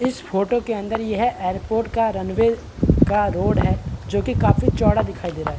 इस फोटो के अंदर यह एयरपोर्ट का रनवे का रोड है जोकि काफी चौड़ा दिखाई दे रहा हैं।